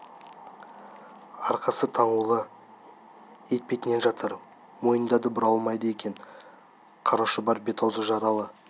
арқасы таңулы етпетінен жатыр мойнын да бұра алмайды екен қара шұбар бет-аузы жаралы